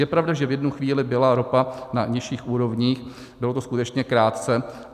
Je pravda, že v jednu chvíli byla ropa na nižších úrovních, bylo to skutečně krátce.